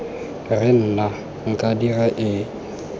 re nna nka dira eng